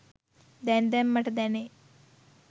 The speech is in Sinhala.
දැන් දැන් මට දැනේ